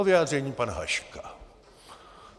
O vyjádření pana Haška.